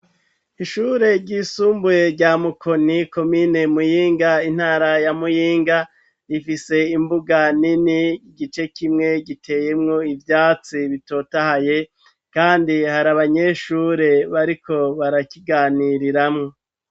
Ishure ryisumbuye rya mukoni komine muyinga intara ya muyinga rifise imbuga nini igice kimwe giteyemwo ivyatsi bitotahaye, kandi hari abanyeshure bariko barakiganiriramwo.